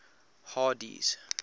hardee's